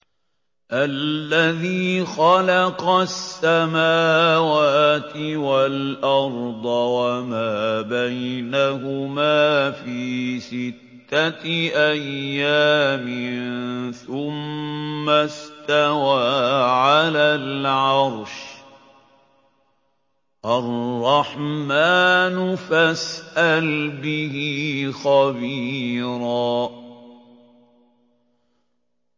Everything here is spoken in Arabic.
الَّذِي خَلَقَ السَّمَاوَاتِ وَالْأَرْضَ وَمَا بَيْنَهُمَا فِي سِتَّةِ أَيَّامٍ ثُمَّ اسْتَوَىٰ عَلَى الْعَرْشِ ۚ الرَّحْمَٰنُ فَاسْأَلْ بِهِ خَبِيرًا